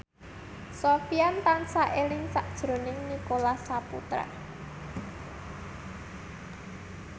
Sofyan tansah eling sakjroning Nicholas Saputra